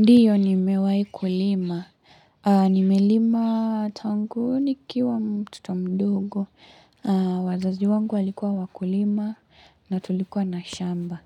Ndiyo nimewahi kulima. Nimelima tangu nikiwa mtoto mdogo. Wazazi wangu walikua wakulima na tulikuwa na shamba.